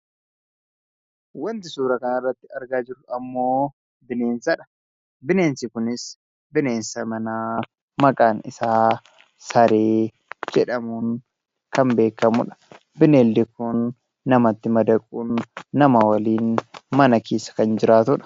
Wanti suuraa kanarratti argaa jirru ammoo bineensadha. Bineensi kunis bineensa manaa maqaan isaa saree jedhamuun kan beekamudha. Bineeldi kun namatti madaquun nama waliin mana keessa kan jiraatudha.